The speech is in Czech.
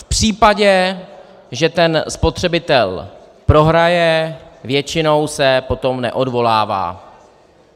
V případě, že ten spotřebitel prohraje, většinou se potom neodvolává.